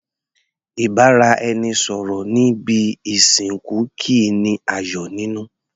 Ìbáraẹnisọ̀rọ̀ ní ibi ìsìnkú kìí ní ayọ̀ nínú.